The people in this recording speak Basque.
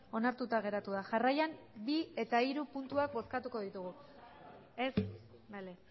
onartuta geratu da jarraian bi eta hiru puntuak bozkatuko dugu ez bale